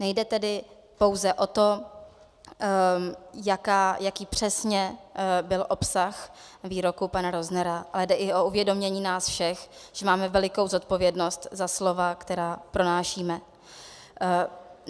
Nejde tedy pouze o to, jaký přesně byl obsah výroku pana Roznera, ale jde i o uvědomění nás všech, že máme velikou zodpovědnost za slova, která pronášíme.